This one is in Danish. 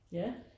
Ja